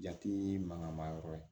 Jate mankanma yɔrɔ ye